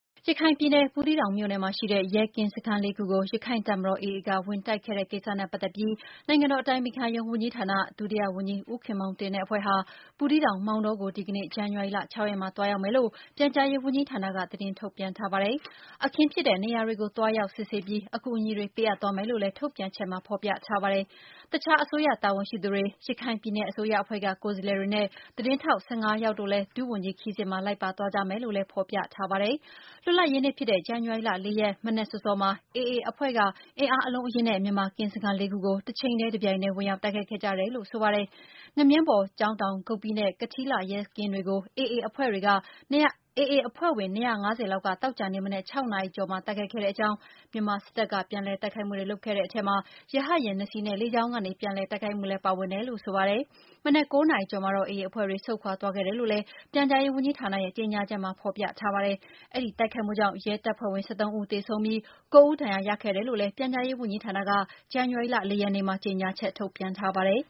ရခိုင်ပြည်နယ်၊ ဘူးသီးတောင်မြို့နယ်မှာရှိတဲ့ ရဲကင်းစခန်းလေးခုကို ရခိုင့်တပ်မတော် (AA) က ဝင်တိုက်ခဲ့တဲ့ ကိစ္စနဲ့ပတ်သက်ပြီး နိုင်ငံတော် အတိုင်ပင်ခံရုံးဝန်ကြီးဌာန၊ ဒုတိယဝန်ကြီး ဦးခင်မောင်တင်နဲ့ အဖွဲ့ဟာ ဘူးသီးတောင်၊ မောင်တောကို ဒီကနေ့ ဇန်နဝါရီ ၆ ရက်မှာ သွားရောက်မယ်လို့ ပြန်ကြားရေးဝန်ကြီးဌာနက သတင်းထုတ်ပြန်ပါတယ်။ အခင်းဖြစ်တဲ့နေရာတွေကို သွားရောက်စစ်ဆေးပြီး အကူအညီတွေပေးအပ်သွားမယ်လို့လည်း ထုတ်ပြန်ချက်မှာ ဖော်ပြထားပါတယ်။ အခြား အစိုးရတာဝန်ရှိသူတွေ၊ ရခိုင်ပြည်နယ်အစိုးရအဖွဲ့က ကိုယ်စားလှယ်တွေနဲ့ သတင်းထောက် ၁၅ ယောက်တို့လည်း ဒုဝန်ကြီးခရီးစဉ်မှာလိုက်ပါသွားကြမယ်လို့လည်း ဖော်ပြထားပါတယ်။ လွတ်လပ်ရေးနေ့ဖြစ်တဲ့ ဇန်နဝါရီလ ၄ ရက်၊ မနက်စောစောမှာ AA အဖွဲ့က အင်အားအလုံးအရင်းနဲ့ မြန်မာကင်း စခန်းလေးခုကို တချိန်တည်းတပြိုင်တည်း ဝင်ရောက်တိုက်ခိုက်ခဲ့ကြတယ်လို့ဆိုပါတယ်။ ငမြင်း ဘော်၊ ကျောင်းတောင်၊ ဂုပ္ပိနဲ့ ကထီးလှ ရဲကင်းတွေကို AA အဖွဲ့ဝင်တွေ ၂၅၀ လောက်က သောကြာနေ့ မနက် ၆ နာရီ ကျော်မှာ တိုက်ခိုက်ခဲ့ကြောင်း၊ မြန်မာစစ်တပ်ကပြန်လည်တိုက်ခိုက်မှုတွေလုပ်ခဲ့တဲ့အထဲမှာ ရဟတ်ယာဉ် ၂ စီး နဲ့ လေကြောင်းကနေပြန်လည် တိုက်ခိုက်ခဲ့တယ်လို့ဆိုပါတယ်။ မနက် ၉ နာရီကျော်မှာတော့ AA အဖွဲ့တွေဆုတ်ခွါသွားခဲ့တယ်လို့လည်း ပြန်ကြားရေးဝန်ကြီးဌာနရဲ့ ကြေညာ ချက်မှာ ဖေါ်ပြထားပါတယ်။ အဲဒီတိုက်ခိုက်မှုကြောင့် ရဲတပ်ဖွဲ့ဝင် ၁၃ဦး၊ သေဆုံးပြီး ၉ ဦးဒဏ်ရာရခဲ့တယ်လို့ ပြန်ကြားရေးဝန်ကြီးဌာနက ဇန်နဝါရီလ ၄ ရက်နေ့မှာ ကြေညာချက်ထုတ်ပြန်ထားပါတယ်